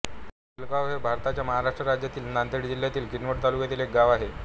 भिलगाव हे भारताच्या महाराष्ट्र राज्यातील नांदेड जिल्ह्यातील किनवट तालुक्यातील एक गाव आहे